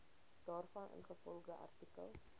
daarvan ingevolge artikel